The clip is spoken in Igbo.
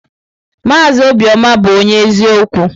Maazị Obiọma bụ onye eziokwu.